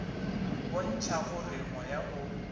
go bontšha gore moya o